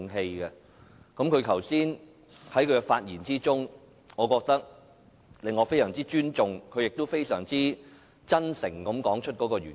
朱議員剛才的發言令我非常尊重他，而他亦非常真誠地說出原因。